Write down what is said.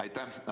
Aitäh!